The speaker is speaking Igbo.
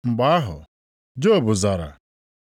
Mgbe ahụ, Job zara: